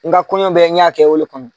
N ka kɔɲɔ bɛɛ n y'a kɛ o le kama.